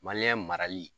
marali